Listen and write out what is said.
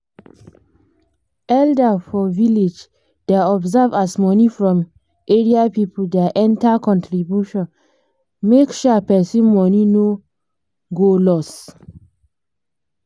elder for village da observe as money from area people da enter contribution make um person money no um loss